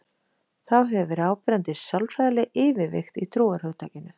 Þá hefur verið áberandi sálfræðileg yfirvigt í trúarhugtakinu.